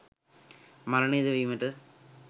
මරණය ද වීමට